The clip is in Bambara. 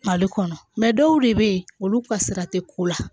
Mali kɔnɔ dɔw de bɛ ye olu ka sira tɛ ko la